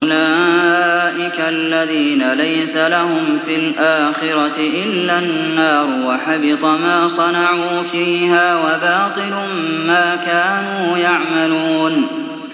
أُولَٰئِكَ الَّذِينَ لَيْسَ لَهُمْ فِي الْآخِرَةِ إِلَّا النَّارُ ۖ وَحَبِطَ مَا صَنَعُوا فِيهَا وَبَاطِلٌ مَّا كَانُوا يَعْمَلُونَ